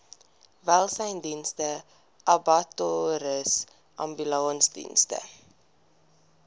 welsynsdienste abattoirs ambulansdienste